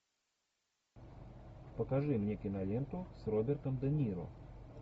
покажи мне киноленту с робертом де ниро